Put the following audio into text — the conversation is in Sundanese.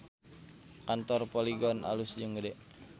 Kantor Polygon alus jeung gede